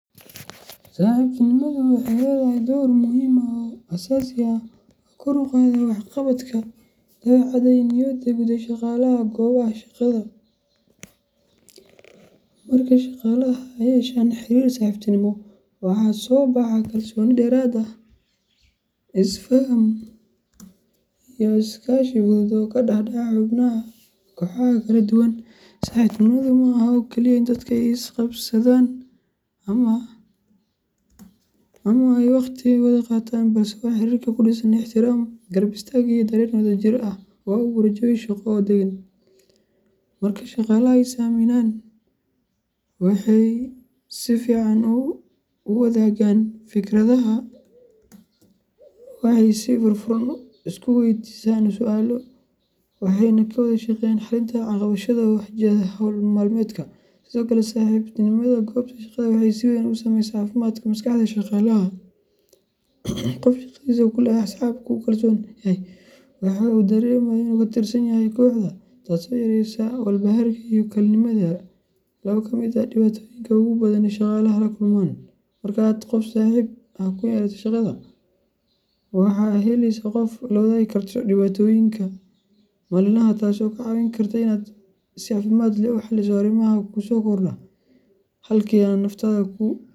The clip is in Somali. Saxiibtinimadu waxay leedahay door muhiim ah oo aasaasi ah oo kor u qaada waxqabadka, dabeecadda, iyo niyadda guud ee shaqaalaha goobaha shaqada. Marka shaqaalaha ay yeeshaan xiriir saaxiibtinimo ah, waxaa soo baxa kalsooni dheeraad ah, is faham, iyo iskaashi fudud oo ka dhex dhaca xubnaha kooxaha kala duwan. Saxiibtinimadu maaha oo kaliya in dadka ay is qabsadaan ama ay waqti wada qaataan, balse waa xiriir ku dhisan ixtiraam, garab istaag, iyo dareen wadajir ah oo abuura jawi shaqo oo deggan. Marka shaqaalaha ay is aaminaan, waxay si fiican u wadaagaan fikradaha, waxay si furfuran isu weydiiyaan su’aalo, waxayna ka wada shaqeeyaan xalinta caqabadaha soo wajahda hawl maalmeedka. Sidoo kale, saxiibtinimada goobta shaqada waxay si weyn u saameysaa caafimaadka maskaxda ee shaqaalaha. Qofka shaqadiisa ku leh asxaab uu ku kalsoon yahay wuxuu dareemaa in uu ka tirsan yahay kooxda, taasoo yareysa walbahaarka iyo kalinimada laba ka mid ah dhibaatooyinka ugu badan ee shaqaalaha ay la kulmaan. Marka aad qof saaxiib ah ku leedahay shaqada, waxaad helaysaa qof aad la wadaagi karto dhibaatooyinka maalinlaha ah, taasoo kaa caawin karta inaad si caafimaad leh u xalliso arrimaha kugu soo kordha, halkii aad naftaada ku.